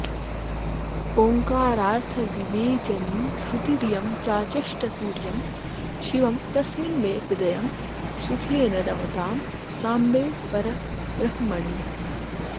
ओंकारार्थविवेचनी श्रुतिरियं चाचष्ट तुर्यं शिवं तस्मिन्मे हृदयं सुखेन रमतां साम्बे परब्रह्मणि